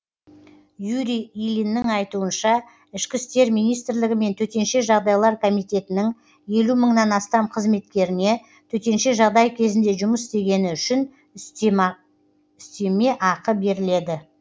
юрий ильиннің айтуынша ішкі істер министрлігі мен төтенше жағдайлар комитетінің елу мыңнан астам қызметкеріне төтенше жағдай кезінде жұмыс істегені үшін үстеме ақы беріледі